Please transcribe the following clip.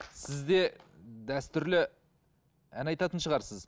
сіз де дәстүрлі ән айтатын шығарсыз